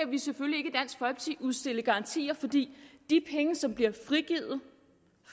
vi selvfølgelig ikke udstikke garantier for de penge som bliver frigivet